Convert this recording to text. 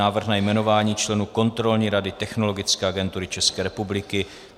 Návrh na jmenování členů Kontrolní rady Technologické agentury České republiky